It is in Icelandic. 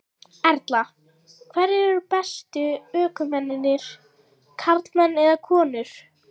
Erla: Hverjir eru bestu ökumennirnir, karlmenn eða konur?